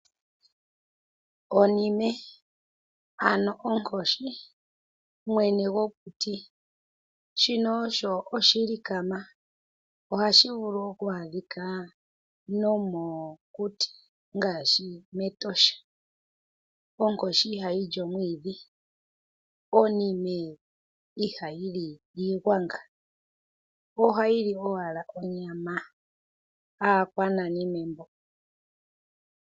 Onime ano onkoshi, mwene gokuti shino osho oshilikama ohashi vulu oku adhika nomokuti ngaashi mEtosha. Onkoshi ihayi li omwiidhi, onime ihayi li iigwanga, ohayi li owala onyama. Aakwananime mbo!